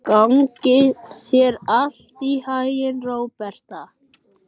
Gangi þér allt í haginn, Róberta.